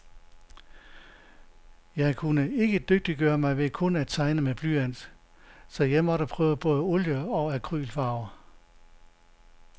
Jeg kunne ikke dygtiggøre mig ved kun at tegne med blyant, så jeg måtte prøve både olie og acrylfarver.